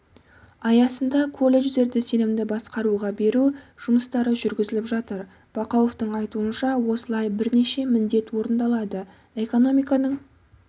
аясында колледждерді сенімді басқаруға беру жұмыстары жүргізіліп жатыр бақауовтың айтуынша осылайша бірнеше міндет орындалады экономиканың